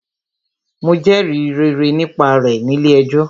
Mo jẹrìí rere nípa rẹ̀ nílé ẹjọ́.